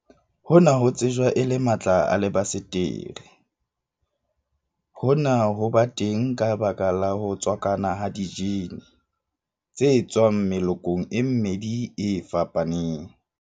Hona ho tsejwa e le matla a lebasetere. Hona ho ba teng ka baka la ho tswakana ha dijene genes, tse tswang melokong e mmedi e fapaneng.